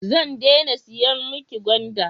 Zan dena siyan mi ki gwanda